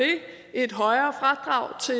et højere fradrag til